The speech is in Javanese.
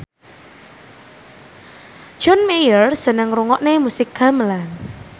John Mayer seneng ngrungokne musik gamelan